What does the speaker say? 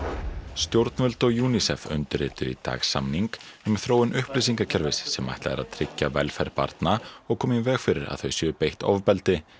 stjórnvöld og UNICEF undirrituðu í dag samning um þróun upplýsingakerfis sem ætlað er að tryggja velferð barna og koma í veg fyrir að þau séu beitt ofbeldi